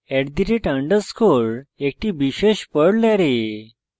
@_ একটি বিশেষ perl array